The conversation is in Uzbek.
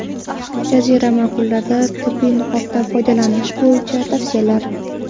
Jazirama kunlarda tibbiy niqobdan foydalanish bo‘yicha tavsiyalar.